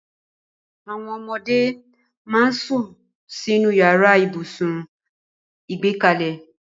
Àwọn ọmọdé máa ń sún sínú yàrá ibùsùn ìgbẹ́kalẹ̀